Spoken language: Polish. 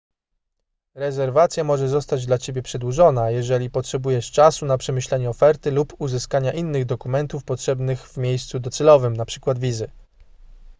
rezerwacja może zostać dla ciebie przedłużona jeżeli potrzebujesz czasu na przemyślenie oferty lub uzyskanie innych dokumentów potrzebnych w miejscu docelowym np. wizy